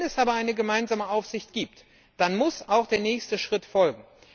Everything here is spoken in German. Wenn es aber eine gemeinsame Aufsicht gibt, dann muss auch der nächste Schritt folgen.